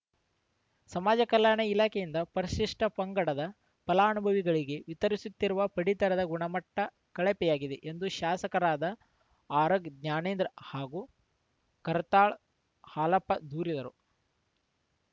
ಸಮಾಜ ಕಲ್ಯಾಣ ಇಲಾಖೆಯಿಂದ ಪರಿಶಿಷ್ಟಪಂಗಡದ ಫಲಾನುಭವಿಗಳಿಗೆ ವಿತರಿಸುತ್ತಿರುವ ಪಡಿತರದ ಗುಣಮಟ್ಟಕಳಪೆಯಾಗಿದೆ ಎಂದು ಶಾಸಕರಾದ ಆರಗ ಜ್ಞಾನೇಂದ್ರ ಹಾಗೂ ಕರ್ತಾಳ್ ಹಾಲಪ್ಪ ದೂರಿದರು